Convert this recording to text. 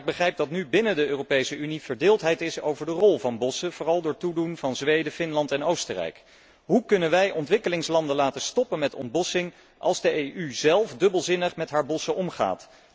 Ik begrijp echter dat nu binnen de Europese Unie verdeeldheid heerst over de rol van bossen, vooral door toedoen van Zweden, Finland en Oostenrijk. Hoe kunnen wij ontwikkelingslanden laten stoppen met ontbossing als de EU zelf dubbelzinnig met haar bossen omgaat?